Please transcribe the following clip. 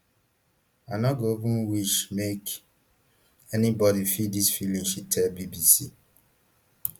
i no go ever wish make anybody feel dis feeling she tell bbc